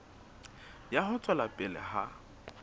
ya ho tswela pele ha